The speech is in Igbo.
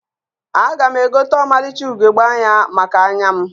Aga m egote ọmalịcha ugegbe anya maka anya m